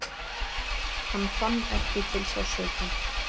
Hann fann ekki til sársauka.